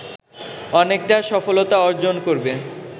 অনেকটা সফলতা অর্জন করবে